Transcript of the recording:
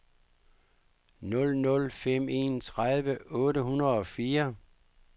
nul nul fem en tredive otte hundrede og fire